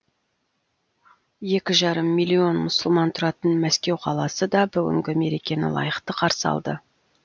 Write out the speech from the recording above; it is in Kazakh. екі жарым миллион мұсылман тұратын мәскеу қаласы да бүгінгі мерекені лайықты қарсы алды